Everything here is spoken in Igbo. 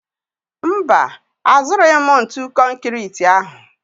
Mba, azụrụghị m ntu konkịtị ahụ